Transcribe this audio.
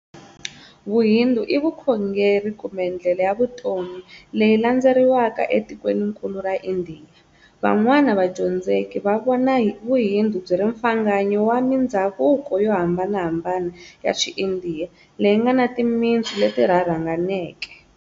Vuhindu i vukhongeri, kumbe ndlela ya vutomi, leyi landzeleriwaka etikweninkulu ra Indiya. Van'wana vadyondzeki va vona vuhindu byiri mfanganyo wa mindzhavuko yo hambanahambana ya xi Indiya, leyi ngana timintsu leti rharhanganeke.